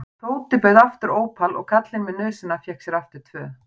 Tóti bauð aftur ópal og karlinn með nösina fékk sér aftur tvö.